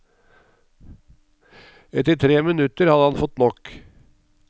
Etter tre minutter hadde han fått nok.